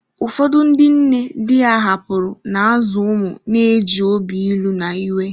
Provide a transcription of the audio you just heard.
Ụfọdụ ndị nne di ha hapụrụ, na-azụ ụmụ na-eji obi ilu na iwe.